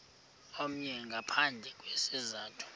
omnye ngaphandle kwesizathu